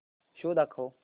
show दाखव